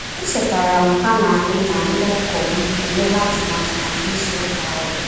E chetara m ha na-anyị na ndị ọgọ m emela atụmatụ maka ịzụ ụka ahu